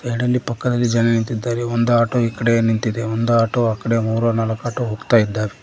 Side ಅಲ್ಲಿ ಪಕ್ಕದಲ್ಲಿ ಜನ ನಿಂತಿದ್ದಾರೆ ಒಂದು ಆಟೋ ಈ ಕಡೆಯೆ ನಿಂತಿದೆ ಒಂದು ಆಟೋ ಆ ಕಡೆ ಮೂರು ನಾಲ್ಕು ಆಟೋ ಹೋಗ್ತಾ ಇದ್ದಾವೆ.